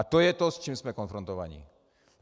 A to je to, s čím jsme konfrontováni.